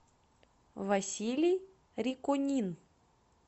василий риконин